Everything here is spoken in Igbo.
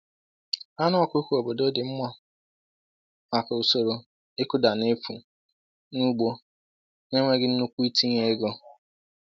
Anụ ọkụkọ obodo dị mma maka usoro ịkụda n’efu na ugbo na-enweghị nnukwu itinye ego.